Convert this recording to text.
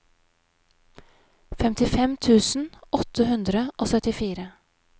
femtifem tusen åtte hundre og syttifire